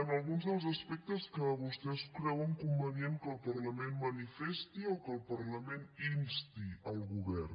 en alguns dels aspectes que vostès creuen convenient que el parlament manifesti o que el parlament insti el govern